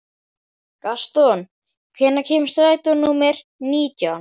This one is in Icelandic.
Gaston, hvenær kemur strætó númer nítján?